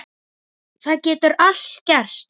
Það getur allt gerst.